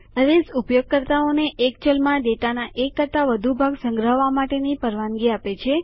અરેઝ ઉપયોગકર્તાઓ ને એક ચલમાં ડેટાના એક કરતાં વધુ ભાગ સંગ્રહવા માટે પરવાનગી આપે છે